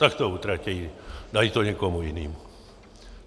Tak to utratí, dají to někomu jinému.